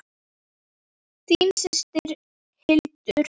Þín systir, Hildur.